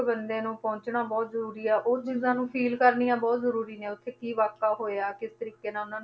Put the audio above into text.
ਬੰਦੇ ਨੂੰ ਪਹੁੰਚਣਾ ਬਹੁਤ ਜ਼ਰੂਰੀ ਆ, ਉਹ ਚੀਜ਼ਾਂ ਨੂੰ feel ਕਰਨੀਆਂ ਬਹੁਤ ਜ਼ਰੂਰੀ ਨੇ ਉੱਥੇ ਕੀ ਵਾਕਾ ਹੋਇਆ, ਕਿਸ ਤਰੀਕੇ ਨਾਲ ਉਹਨਾਂ ਨੂੰ